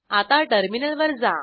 आता टर्मिनलवर जा